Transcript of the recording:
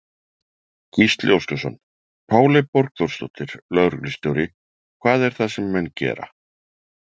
Gísli Óskarsson: Páley Borgþórsdóttir, lögreglustjóri, hvað er það sem menn gera?